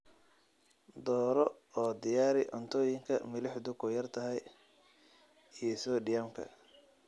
Dooro oo diyaari cuntooyinka milixdu ku yar tahay iyo soodhiyamka.